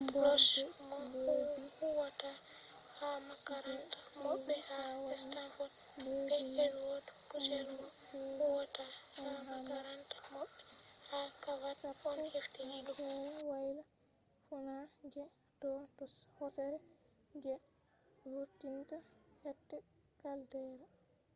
dimborde leddi je fe’i ha wadi leddi man chanji fe’i on ha march 10 ha sere woyla-fuuna je do hosere je vurtinta hiite caldera